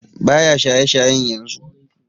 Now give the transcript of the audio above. Baya shaye shayen yanzu